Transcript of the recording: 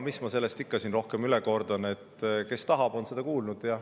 Mis ma sellest ikka rohkem kordan, kes on tahtnud, on seda kuulnud.